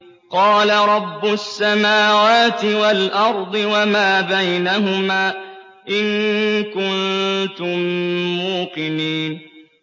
قَالَ رَبُّ السَّمَاوَاتِ وَالْأَرْضِ وَمَا بَيْنَهُمَا ۖ إِن كُنتُم مُّوقِنِينَ